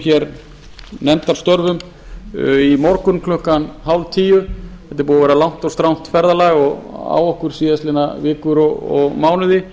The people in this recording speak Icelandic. lukum nefndarstörfum í morgun klukkan hálftíu þetta er búið að vera langt og strangt ferðalag á okkur síðustu vikur og mánuði